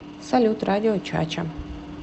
салют радио чача